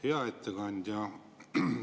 Hea ettekandja!